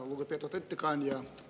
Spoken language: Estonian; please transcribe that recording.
Lugupeetud ettekandja!